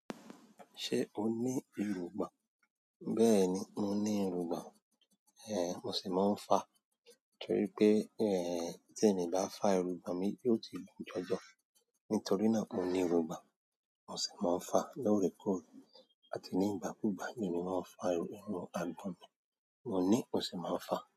Ṣe o ní èròngbà? Bẹ́ẹ̀ni, mo ní irungbọ́n. Mo sì máa ń fa, torí pé, tí èmi bá fá irungbọ̀n mi, yóò ti gùn jọjọ. Nítorí náà mo ní irungbọ̀n, mo sì máa ń fa lóòrèkóòrè àti ní ìgbàkúùgbà, ni mo máa ń fa irun àgbọ̀n mi. Mo ní, mo sì máa ń fa.